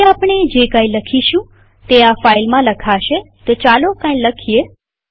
હવે આપણે જે કઈ લખીશું તે આ ફાઈલમાં લખાશેતો ચાલો કઈ લખીએ